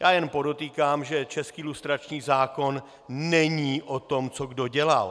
Já jen podotýkám, že český lustrační zákon není o tom, co kdo dělal.